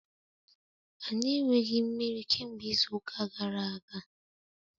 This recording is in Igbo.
Anyị enweghị mmiri kemgbe izu ụka gara aga.